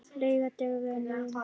laugardögunum